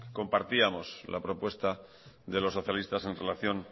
compartíamos la propuesta de los socialistas en relación